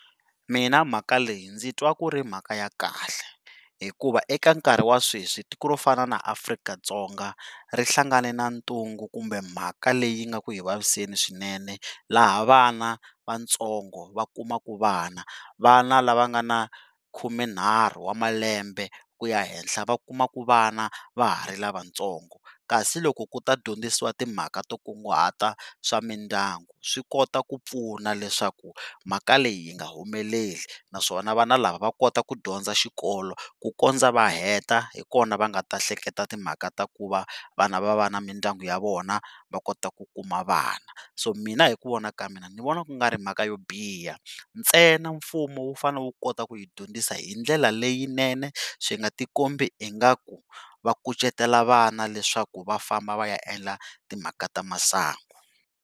Mina mhaka leyi ndzi twa ku ri mhaka ya kahle hikuva eka nkarhi wa sweswi tiko ro fana na Afrika-Dzonga ri hlangane na ntungu kumbe mhaka leyi nga ku hi vaviseni swinene laha vana vatsongo va kumakaa vana, vana la va nga ni khumenharhu wa malembe ku ya henhla va kumaka vana va ha ri lavatsongo kasi loko ku ta dyondzisiwa timhaka to kunguhata swa mindyangu swi kota ku pfuna leswaku mhaka leyi yi nga humeleli naswona vana lava va kota ku dyondza xikolo ku kundza va heta xota hikona va nga ta hleketa timhaka ta ku va vana va va na mindyangu ya vona va kota ku kuma vana. So mina hi ku vona ka mina ni vona ku nga ri mhaka yo biha, ntsena mfumo wu fane wu kota ku hi dyondzisa hi ndlela leyinene swi nga ti kombi ingaku vakucetetela vana leswaku va famba va ya endla timhaka ta masangu.